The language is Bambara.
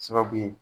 Sababu ye